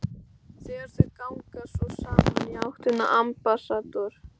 Þegar þau ganga svo saman í áttina að Ambassador